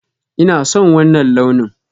Ina son wanna launin.